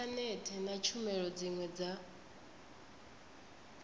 inthanethe na tshumelo dziwe dza